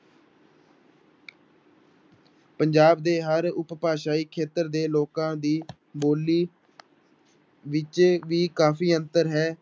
ਪੰਜਾਬ ਦੇ ਹਰ ਉਪਭਾਸ਼ਾਈ ਖੇਤਰ ਦੇ ਲੋਕਾਂ ਦੀ ਬੋਲੀ ਵਿੱਚ ਵੀ ਕਾਫ਼ੀ ਅੰਤਰ ਹੈ।